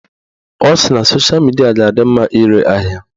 Ọ sị na sosha midia ga-adị mma ire ahịa